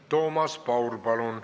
Toomas Paur, palun!